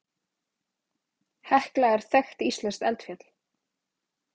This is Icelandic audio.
Hekla er þekkt íslenskt eldfjall.